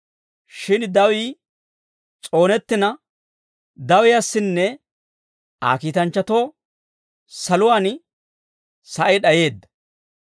Shin dawii s'oonettina dawiyaasinne Aa kiitanchchatoo saluwaan sa'ay d'ayeedda.